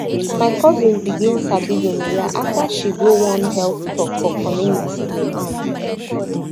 my cousin begin sabi gonorrhea after she go one health talk for community um